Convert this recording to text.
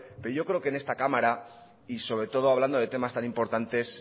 pero yo creo que en esta cámara y sobre todo hablando de temas tan importantes